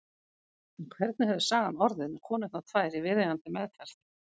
En hvernig hefði sagan orðið með konurnar tvær í viðeigandi meðferð?